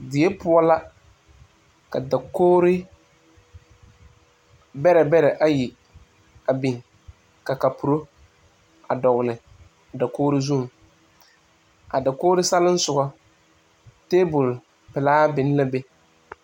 Die poɔ la ka dakogri bɛrɛbɛrɛ ayi biŋ ka kapuro a dɔgle a dakogri zu a dakogri selisugɔŋ table Pelee biŋ la be.